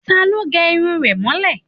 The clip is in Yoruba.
Ta ló lè gẹ irun rẹ̀ mọ́lẹ̀?